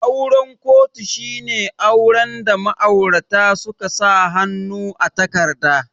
Auren kotu shine auren da ma'aurata suka sa hannu a takarda